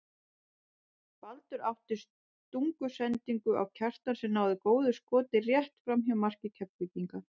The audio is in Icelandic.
Baldur átti stungusendingu á Kjartan sem náði góðu skoti rétt framhjá marki Keflvíkinga.